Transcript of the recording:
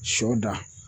Sɔ da